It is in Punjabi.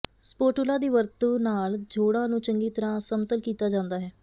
ਸਪੋਟੁਲਾ ਦੀ ਵਰਤੋਂ ਨਾਲ ਜੋੜਾਂ ਨੂੰ ਚੰਗੀ ਤਰ੍ਹਾਂ ਸਮਤਲ ਕੀਤਾ ਜਾਂਦਾ ਹੈ